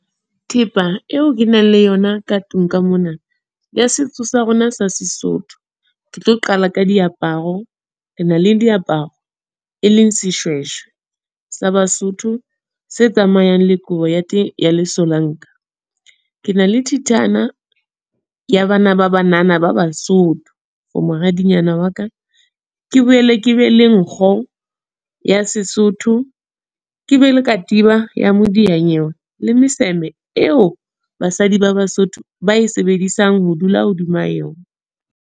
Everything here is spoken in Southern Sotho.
Thepa eo ke nang le yona ka tlung ka mona, ya setso sa rona sa Sesotho. Ke tlo qala ka diaparo. Re na le diaparo, e leng Seshweshwe, sa Basotho. Se tsamayang le kobo ya teng ya lesolanka. Ke na le thethana, ya bana ba banana ba Basotho for moradinyana wa ka. Ke boele ke be le nkgo, ya Sesotho. Ke be le katiba ya modiyanyewe le meseme eo basadi ba Basotho, ba e sebedisang ho dula hodima yona.